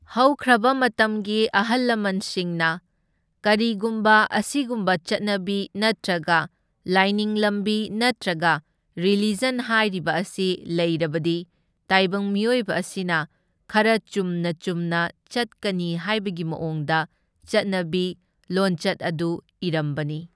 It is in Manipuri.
ꯍꯧꯈ꯭ꯔꯕ ꯃꯇꯝꯒꯤ ꯑꯍꯜ ꯂꯃꯟꯁꯤꯡꯅ ꯀꯔꯤꯒꯨꯝꯕ ꯑꯁꯤꯒꯨꯝꯕ ꯆꯠꯅꯕꯤ ꯅꯠꯇ꯭ꯔꯒ ꯂꯥꯏꯅꯤꯡ ꯂꯝꯕꯤ ꯅꯠꯇ꯭ꯔꯒ ꯔꯤꯂꯤꯖꯟ ꯍꯥꯏꯔꯤꯕ ꯑꯁꯤ ꯂꯩꯔꯕꯗꯤ ꯇꯥꯏꯕꯪ ꯃꯤꯑꯣꯏꯕ ꯑꯁꯤꯅ ꯈꯔ ꯆꯨꯝꯅ ꯆꯨꯝꯅ ꯆꯠꯀꯅꯤ ꯍꯥꯏꯕꯒꯤ ꯃꯑꯣꯡꯗ ꯆꯠꯅꯕꯤ ꯂꯣꯟꯆꯠ ꯑꯗꯨ ꯏꯔꯝꯕꯅꯤ꯫